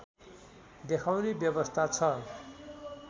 देखाउने व्यवस्था छ